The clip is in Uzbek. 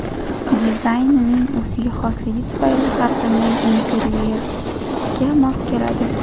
Dizaynining o‘ziga xosligi tufayli har qanday interyerga mos keladi.